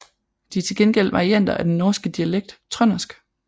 De er til gengæld varianter af den norske dialekt trøndersk